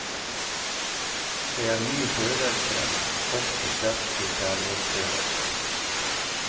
Det er mye følelser, ofte sterke kjærlighetsføleleser.